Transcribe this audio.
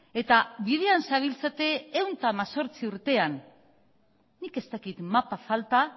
eta bidean zabiltzate ehun eta hemezortzi urtean nik ez dakit mapa falta